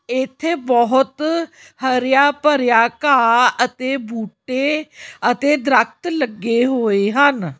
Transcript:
ਇੱਥੇ ਬਹੁਤ ਹਰਿਆ ਭਰਿਆ ਘਾਹ ਅਤੇ ਬੂਟੇ ਅਤੇ ਦਰਖਤ ਲੱਗੇ ਹੋਏ ਹਨ।